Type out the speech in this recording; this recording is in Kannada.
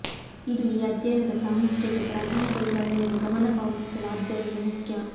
ಇದು ಈ ಅಧ್ಯಯನದ ಪ್ರಾಮುಖ್ಯತೆ ಪ್ರಾಥಮಿಕ ವಿವರಣೆಯನ್ನು ಗಮನ ಪಾವತಿಸಲು ಆದ್ದರಿಂದ ಮುಖ್ಯ